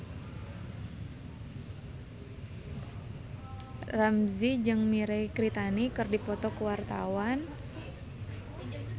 Ramzy jeung Mirei Kiritani keur dipoto ku wartawan